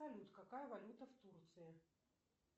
салют какая валюта в турции